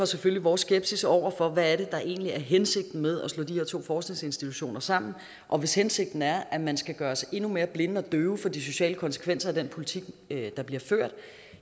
selvfølgelig vores skepsis over for hvad det egentlig er hensigten med at slå de her to forskningsinstitutioner sammen og hvis hensigten er at man skal gøres endnu mere blind og døv for de sociale konsekvenser af den politik der bliver ført